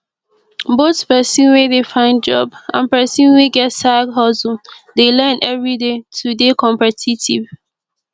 both persin wey de find job and persin wey get side hustle de learn everyday to de competitive